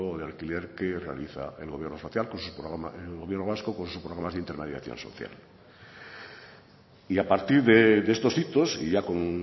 de alquiler que realiza el gobierno vasco con sus programas de intermediación social y a partir de estos hitos y ya con